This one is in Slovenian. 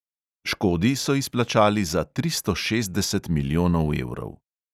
Škodi so izplačali za tristo šestdeset milijonov evrov.